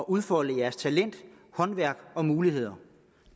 udfolde jeres talent håndværk og muligheder